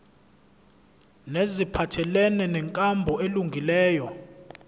neziphathelene nenkambo elungileyo